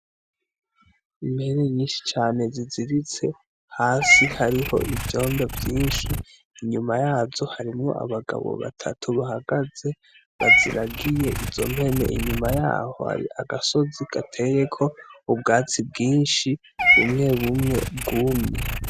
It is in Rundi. Impene nyinshi cane ziziritse hasi hariho ivyondo vyinshi inyuma yazo harimwo abagabo batatu bahagaze baziragiye izo mpene inyuma yaho hari agasozi gateyeko ubwatsi bwinshi bumwe bumwe bwumye.